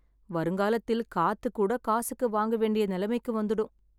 வருங்காலத்தில் காத்து கூட காசுக்கு வாங்க வேண்டிய நிலைமைக்கு வந்துடும்.